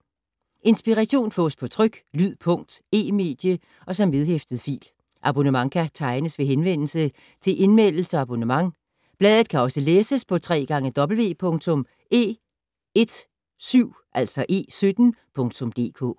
Inspiration fås på tryk, lyd, punkt, e-medie og som vedhæftet fil. Abonnement kan tegnes ved henvendelse til Indmeldelse og abonnement. Bladet kan også læses på www.e17.dk